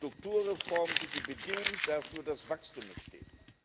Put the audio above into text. Strukturreformen sind die Bedingung dafür, dass Wachstum entsteht.